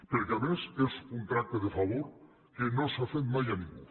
perquè a més és un tracte de favor que no s’ha fet mai a ningú